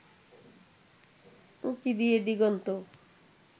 উঁকি দিয়ে দিগন্ত